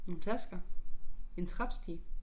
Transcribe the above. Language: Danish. Nogen tasker en trappestige